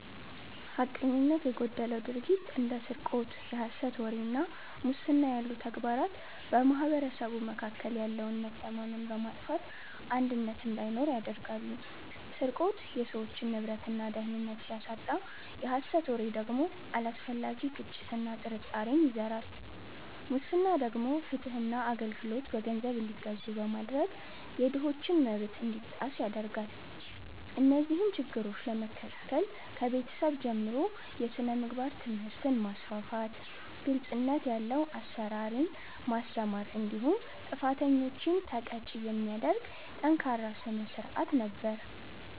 ሐቀኝነት የጎደለው ድርጊት እንደ ስርቆት፣ የሐሰት ወሬ እና ሙስና ያሉ ተግባራት በማኅበረሰቡ መካከል ያለውን መተማመን በማጥፋት አንድነትን እንዳይኖር ያደርጋሉ። ስርቆት የሰዎችን ንብረትና ደህንነት ሲያሳጣ፣ የሐሰት ወሬ ደግሞ አላስፈላጊ ግጭትና ጥርጣሬን ይዘራል። ሙስና ደግሞ ፍትህና አገልግሎት በገንዘብ እንዲገዙ በማድረግ የድሆችን መብት እንዲጣስ ያደርጋል። እነዚህን ችግሮች ለመከላከል ከቤተሰብ ጀምሮ የሥነ ምግባር ትምህርትን ማስፋፋት፤ ግልጽነት ያለው አሰራርን ማስተማር እንዲሁም ጥፋተኞችን ተቀጪ የሚያደርግ ጠንካራ ሥርዓት ነበር።